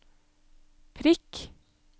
prikk